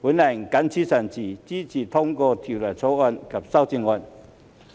我謹此陳辭，支持通過《條例草案》及修正案。